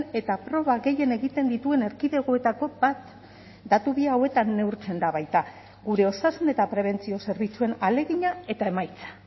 eta proba gehien egiten dituen erkidegoetako bat datu bi hauetan neurtzen da baita gure osasun eta prebentzio zerbitzuen ahalegina eta emaitza